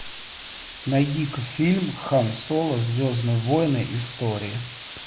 найди ка фильм хан соло звездные войны истории